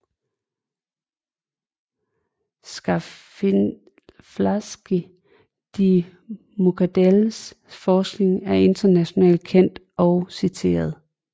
Schaffalitzky de Muckadells forskning er internationalt kendt og citeret